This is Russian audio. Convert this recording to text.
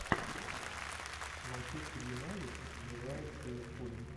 манчестер юнайтед играет с ливерпулем